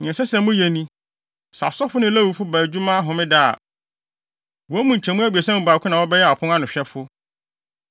Nea ɛsɛ sɛ moyɛ ni. Sɛ asɔfo ne Lewifo ba adwuma Homeda a, wɔn mu nkyɛmu abiɛsa mu baako na wɔbɛyɛ apon ano ahwɛfo.